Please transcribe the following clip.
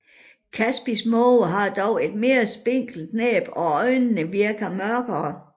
Kaspisk måge har dog et mere spinkelt næb og øjnene virker mørkere